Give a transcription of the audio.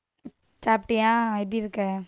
சாப்பிட்டியா? எப்படி இருக்க?